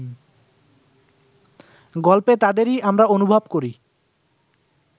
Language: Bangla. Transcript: গল্পে তাদেরই আমরা অনুভব করি